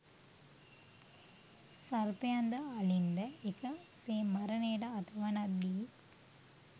සර්පයන්ද අලින්ද එක සේ මරණයට අත වනද්දී